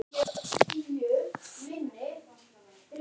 Agnes leggur aðra hönd á brjóst sér.